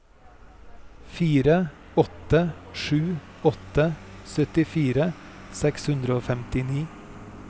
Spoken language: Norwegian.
fire åtte sju åtte syttifire seks hundre og femtini